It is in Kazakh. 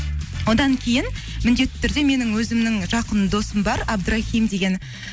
одан кейін міндетті түрде менің өзімнің жақын досым бар абдрахим деген